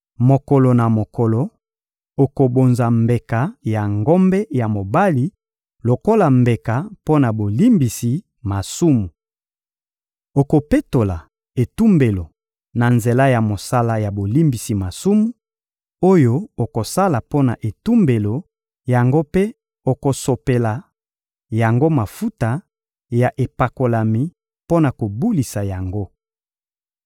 Mokolo na mokolo, okobonza mbeka ya ngombe ya mobali lokola mbeka mpo na bolimbisi masumu. Okopetola etumbelo na nzela ya mosala ya bolimbisi masumu, oyo okosala mpo na etumbelo yango mpe okosopela yango mafuta ya epakolami mpo na kobulisa yango.